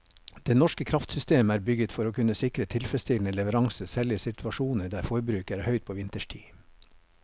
Det norske kraftsystemet er bygget for å kunne sikre tilfredsstillende leveranser selv i situasjoner der forbruket er høyt på vinterstid.